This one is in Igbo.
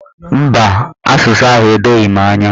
Mba, asụsụ ahụ edoghi m anya.